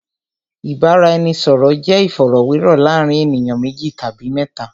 Ìbáraẹnisọ̀rọ̀ jẹ́ ìfọ̀rọ̀wérọ̀ láàárín ènìyàn méjì tàbí mẹ́ta.